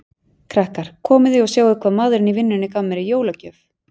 Krakkar, komiði og sjáið hvað maðurinn í vinnunni gaf mér í jólagjöf